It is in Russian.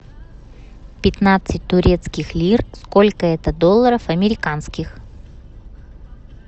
пятнадцать турецких лир сколько это долларов американских